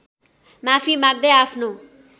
माफी माग्दै आफ्नो